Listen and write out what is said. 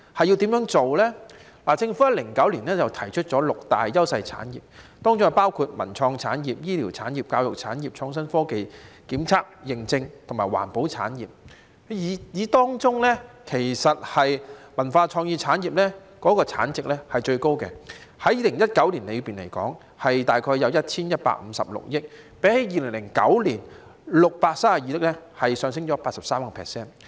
政府在2009年提出六大優勢產業，當中包括文化創意產業、醫療產業、教育產業、創新科技、檢測認證和環保產業，當中以文化創意產業的產值是最高的，在2019年，大約有 1,156 億元，較2009年的632億元上升 83%。